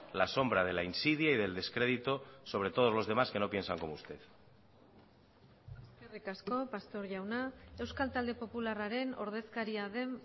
la sombra de la insidia y del descrédito sobre todos los demás que no piensan como usted eskerrik asko pastor jauna euskal talde popularraren ordezkaria den